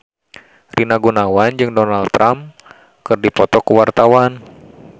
Rina Gunawan jeung Donald Trump keur dipoto ku wartawan